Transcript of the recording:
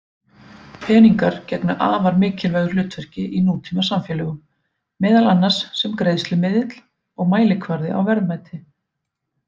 Peningar gegna afar mikilvægu hlutverki í nútímasamfélögum, meðal annars sem greiðslumiðill og mælikvarði á verðmæti.